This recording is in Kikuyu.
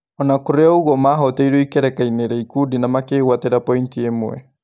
Ona kũrĩ ũguo mahoteirwo ikerekainĩ rĩ a ikundi na makĩ gwatĩ ra pointi ĩ mwe.